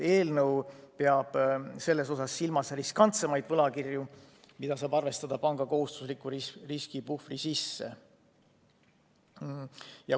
Eelnõu peab silmas riskantsemaid võlakirju, mida saab arvestada panga kohustusliku riskipuhvri sisse.